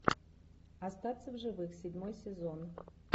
остаться в живых седьмой сезон